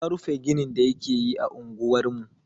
Ya rufe ginin da yake yi a unguwar mu.